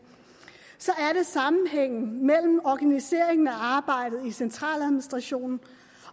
er det sammenhængen mellem organiseringen af arbejdet i centraladministrationen